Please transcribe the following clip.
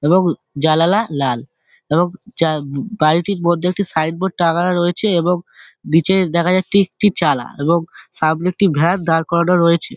এবং জানালা লাল এবং যা বাড়িটির মধ্যে একটি সাইন বোর্ড টাঙ্গানো রয়েছে । এবং নিচে দেখা যাচ্ছে একটি চালা এবং সামনে একটি ভ্যান দাঁড় করানো রয়েছে।